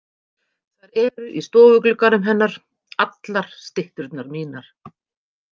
Þær eru í stofuglugganum hennar, allar stytturnar mínar.